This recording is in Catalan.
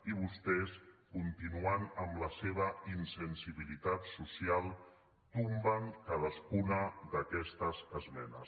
i vostès continuen amb la seva insensibilitat social tombant cadascuna d’aquestes esmenes